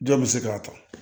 Jɔn bɛ se k'a ta